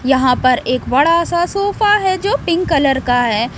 यहां पर एक बड़ा सा सोफा है जो पिंक कलर का है।